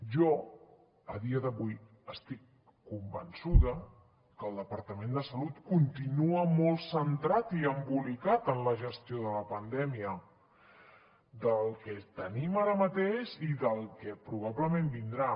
jo a dia d’avui estic convençuda que el departament de salut continua molt centrat i embolicat en la gestió de la pandèmia del que tenim ara mateix i del que probablement vindrà